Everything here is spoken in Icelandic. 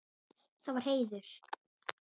Það var heiður.